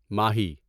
ماہی